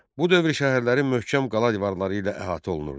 Bu dövrün şəhərləri möhkəm qala divarları ilə əhatə olunurdu.